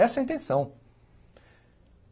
Essa é a intenção.